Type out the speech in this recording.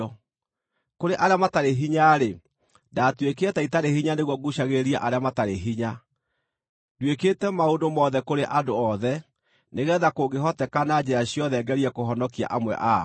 Kũrĩ arĩa matarĩ hinya-rĩ, ndaatuĩkire ta itarĩ hinya nĩguo nguucagĩrĩrie arĩa matarĩ hinya. Nduĩkĩte maũndũ mothe kũrĩ andũ othe nĩgeetha kũngĩhoteka na njĩra ciothe ngerie kũhonokia amwe ao.